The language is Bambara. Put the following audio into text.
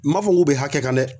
N m'a fɔ k'u bɛ hakɛ kan dɛ